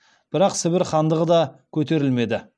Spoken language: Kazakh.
бірақ сібір хандығы да көтерілмеді